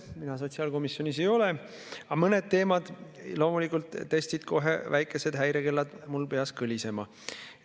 Mina sotsiaalkomisjoni liige ei ole, aga mõned teemad loomulikult kohe väikesed häirekellad mul peas kõlisema.